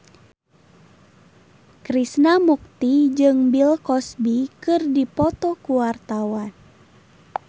Krishna Mukti jeung Bill Cosby keur dipoto ku wartawan